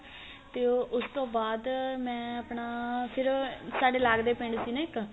ਤੇ ਉਹ ਉਸ ਤੋਂ ਬਾਅਦ ਮੈਂ ਆਪਣਾ ਫ਼ਿਰ ਸਾਡੇ ਲੱਗਦੇ ਪਿੰਡ ਸੀ ਨਾ ਇੱਕ